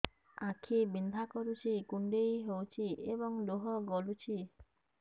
ଆଖି ବିନ୍ଧା କରୁଛି କୁଣ୍ଡେଇ ହେଉଛି ଏବଂ ଲୁହ ଗଳୁଛି